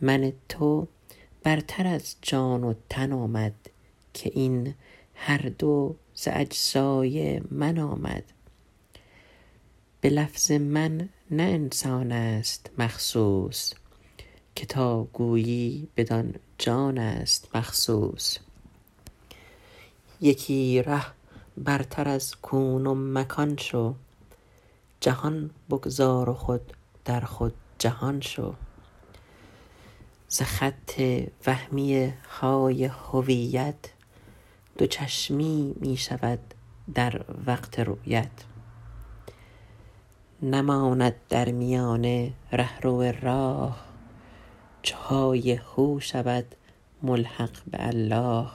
من تو برتر از جان و تن آمد که این هر دو ز اجزای من آمد به لفظ من نه انسان است مخصوص که تا گویی بدان جان است مخصوص یکی ره برتر از کون و مکان شو جهان بگذار و خود در خود جهان شو ز خط وهمی های هویت دو چشمی می شود در وقت رویت نماند در میانه رهرو و راه چو های هو شود ملحق به الله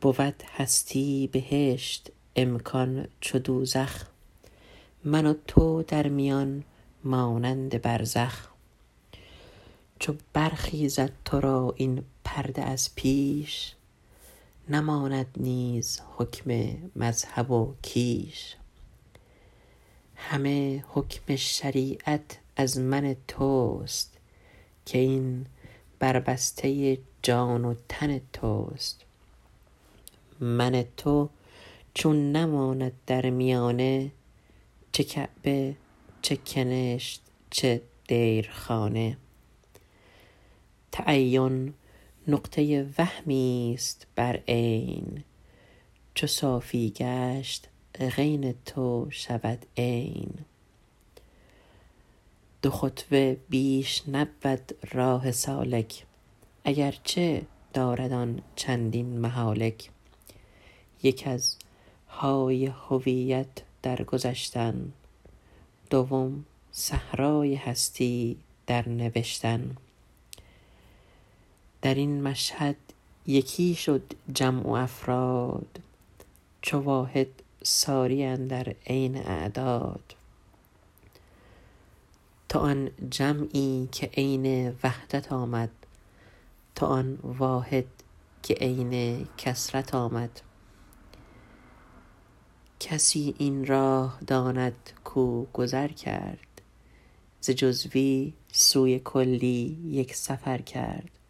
بود هستی بهشت امکان چو دوزخ من تو در میان مانند برزخ چو برخیزد تو را این پرده از پیش نماند نیز حکم مذهب و کیش همه حکم شریعت از من توست که این بربسته جان و تن توست من تو چون نماند در میانه چه کعبه چه کنشت چه دیرخانه تعین نقطه وهمی است بر عین چو عینت گشت صافی غین شد عین دو خطوه بیش نبود راه سالک اگر چه دارد آن چندین مهالک یک از های هویت در گذشتن دوم صحرای هستی در نوشتن در این مشهد یکی شد جمع و افراد چو واحد ساری اندر عین اعداد تو آن جمعی که عین وحدت آمد تو آن واحد که عین کثرت آمد کسی این سر شناسد کو گذر کرد ز جزوی سوی کلی یک سفر کرد